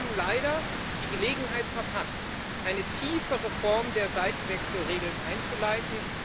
Sie haben leider die Gelegenheit verpasst, eine tiefe Reform der Seitenwechselregeln einzuleiten